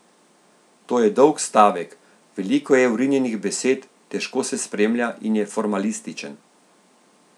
To je dolg stavek, veliko je vrinjenih besed, težko se spremlja in je formalističen.